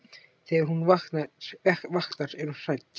Þegar hún vaknar er hún hrædd.